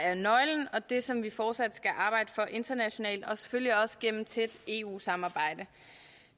er nøglen og det som vi fortsat skal arbejde for internationalt og selvfølgelig også gennem et tæt eu samarbejde